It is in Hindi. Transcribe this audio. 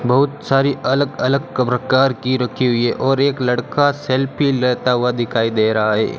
बहुत सारी अलग अलग कब्र कार की रखी हुई है और एक लड़का सेल्फी लेता हुआ दिखाई दे रहा है।